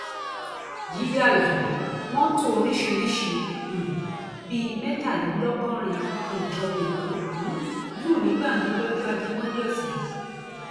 jíde alábi mọtò oríṣìíríṣìí um bíi mẹtàlélọgọrin ní ìjọba èkó um lù ní gbàǹjo lọjọ ajé monde ọsẹ yìí